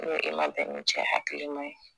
N e ma bɛn ni cɛ hakilima ye